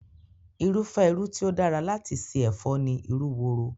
Irúfẹ́ irú tí ó dára láti ṣe ẹ̀fọ́ ni irú woro